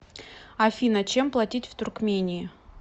афина чем платить в туркмении